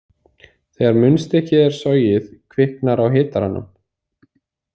Þegar munnstykkið er sogið kviknar á hitaranum.